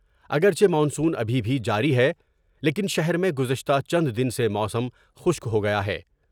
اگر چہ مانسون ابھی بھی جاری ہے لیکن شہر میں گزشتہ چند دن سے موسم خشک ہو گیا ہے ۔